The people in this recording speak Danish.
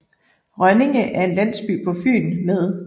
Rønninge er en landsby på Fyn med